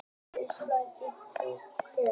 Íslandsmeistari í póker